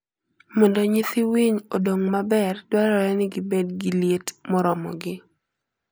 Mondo nyithii winy odong maber, dwarore ni gibed gi liet moromogi.